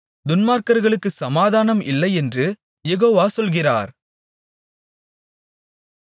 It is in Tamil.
துன்மார்க்கர்களுக்குச் சமாதானம் இல்லையென்று யெகோவா சொல்கிறார்